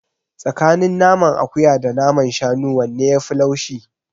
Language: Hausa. Tsakanin naman akuya da naman shanu wanne yafi laushi?